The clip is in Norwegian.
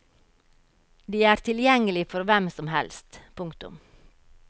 De er tilgjengelig for hvem som helst. punktum